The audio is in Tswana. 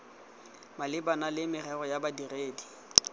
malebana le merero ya badiri